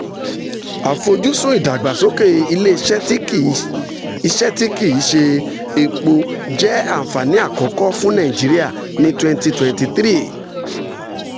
àfojúsùn ìdàgbàsókè ilé iṣẹ́ tí kì iṣẹ́ tí kì í ṣe epo jẹ́ ànfàní àkọ́kọ́ fún nàìjíríà ní 2023.